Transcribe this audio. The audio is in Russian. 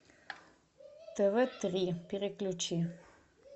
тв три переключи